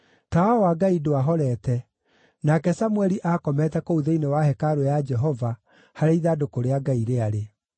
Tawa wa Ngai ndwahorete, nake Samũeli aakomete kũu thĩinĩ wa hekarũ ya Jehova, harĩa ithandũkũ rĩa Ngai rĩarĩ.